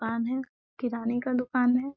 कान है किराने का दुकान है।